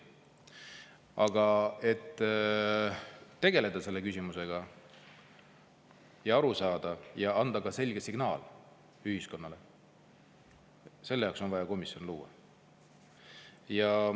Aga et tegeleda selle küsimusega, asjast aru saada ja anda ka selge signaal ühiskonnale, selle jaoks on vaja komisjon luua.